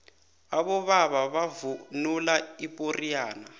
abobaba bavunula ipoxiyane